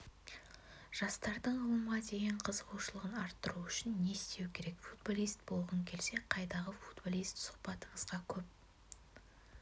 жастардың ғылымға деген қызығушылығын арттыру үшін не істеу керек футболист болғың келсе қайдағы футболист сұхбатыңызға көп